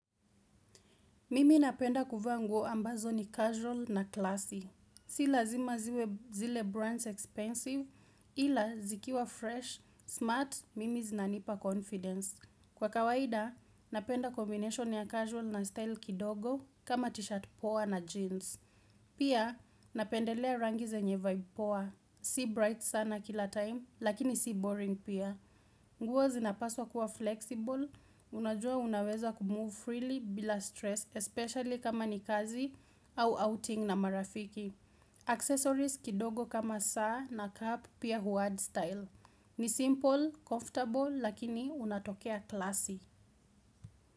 Mimi napenda kuvaa nguo ambazo ni casual na classy. Si lazima ziwe brands expensive, ila zikiwa fresh, smart, mimi zinanipa confidence. Kwa kawaida, napenda kombination ya casual na style kidogo, kama t-shirt poa na jeans. Pia, napendelea rangi zenye vibe poa, si bright sana kila time, lakini si boring pia. Nguo zinapaswa kuwa flexible, unajua unaweza kumove freely bila stress, especially kama ni kazi au outing na marafiki. Accessories kidogo kama saa na cap pia huadd style. Ni simple, comfortable, lakini unatokea classy.